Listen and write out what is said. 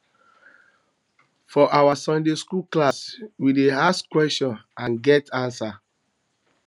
for our sunday skool class we dey ask questions and get answers